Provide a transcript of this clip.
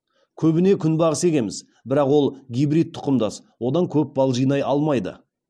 көбіне күнбағыс егеміз бірақ ол гибрид тұқымдас одан көп бал жинай алмайды